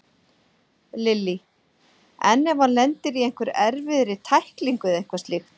Lillý: En ef hann lendir í einhverri erfiðri tæklingu eða eitthvað slíkt?